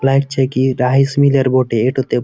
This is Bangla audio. লাইগ চেকি রাইস মিল এর বটে। এটোতে --